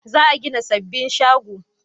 Za a gina sababbin shago